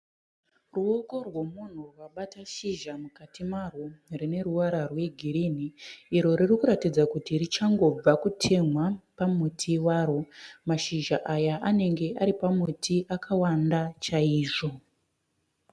Ruoko rwomunhu akabata shizha mukati marwo rine ruvara rwegirinhi iro riri kuratidza kuti richangobva kutemhwa pamuti waro. Mashizha aya anenge ari pamuti akawanda chaizvo.